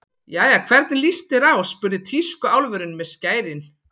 Jæja, hvernig líst þér á spurði tískuálfurinn með skærin.